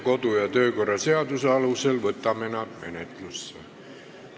Kodu- ja töökorra seaduse alusel võtame nad menetlusse.